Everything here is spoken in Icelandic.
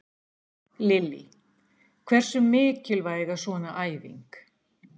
Lillý: Hversu mikilvæg er svona æfing?